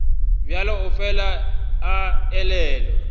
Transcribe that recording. bjalo o fela a elelwa